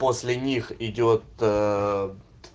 после них идёт